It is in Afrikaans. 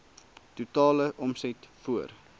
totale omset voor